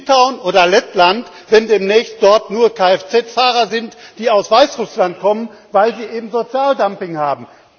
z. B. in Litauen oder Lettland demnächst dort nur Lkw Fahrer sind, die aus Weißrussland kommen, weil sie eben Sozialdumping haben?